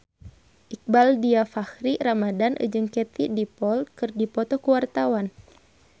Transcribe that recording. Iqbaal Dhiafakhri Ramadhan jeung Katie Dippold keur dipoto ku wartawan